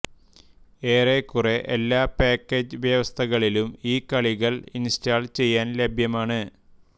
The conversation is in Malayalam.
ഏറെക്കുറെ എല്ലാ പാക്കേജ് വ്യവസ്ഥകളിലും ഈ കളികൾ ഇൻസ്റ്റാൾ ചെയ്യാൻ ലഭ്യമാണ്